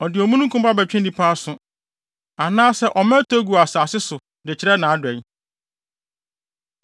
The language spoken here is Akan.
Ɔde omununkum ba bɛtwe nnipa aso, anaasɛ ɔma ɛtɔ gu asase so de kyerɛ nʼadɔe.